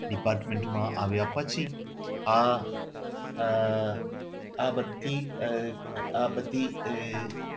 Department માં આવ્યા પછી આ આહ આ બધી આહ આ બધી આહ આહ